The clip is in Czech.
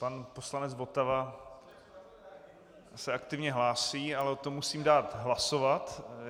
Pan poslanec Votava se aktivně hlásí, ale o tom musím dát hlasovat.